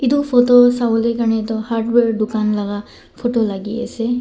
edu photo sawolae karni toh hardware dukan laka photo lakiase.